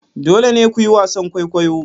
Dole ne ku yi wasan kwaikwayo!